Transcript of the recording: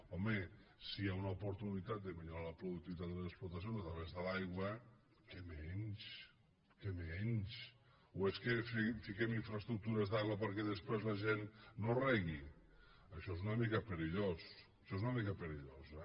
home si hi ha una oportunitat de millorar la productivitat de les explotacions a través de l’aigua què menys què menys o es que fiquem infraestructures d’aigua perquè després la gent no regui això és una mica perillós això és una mica perillós